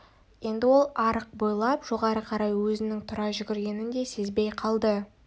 енді ол арық бойлап жоғары қарай өзінің тұра жүгіргенін де сезбей қалды